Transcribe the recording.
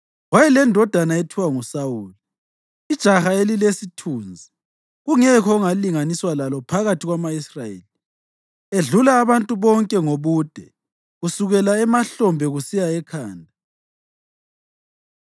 Wayelendodana ethiwa nguSawuli, ijaha elilesithunzi kungekho ongalinganiswa lalo phakathi kwama-Israyeli, edlula abantu bonke ngobude kusukela emahlombe kusiya ekhanda.